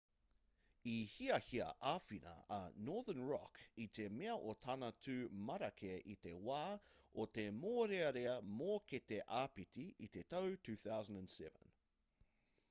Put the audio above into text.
i hiahia āwhina a northern rock i te mea o tana tū marake i te wā o te mōrearea mōkete āpiti i te tau 2007